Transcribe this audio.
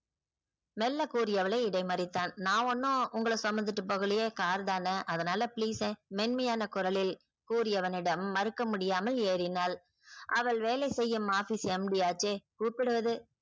மெல்ல கூறிய அவளை இடைமறித்தான் நான் ஒன்னும் உங்கள சுமந்துட்டு போகலையே car தான அதனால please மென்மையான குரலில் கூறி அவனிடம் மறுக்க முடியாமல் ஏறினாள். அவள் வேலை செய்யும் officeMD அஜய் கூப்பிடுவது